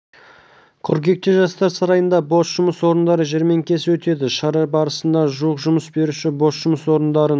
қыркүйекте жастар сарайында бос жұмыс орындары жәрмеңкесі өтеді шара барысында жуық жұмыс беруші бос жұмыс орындарын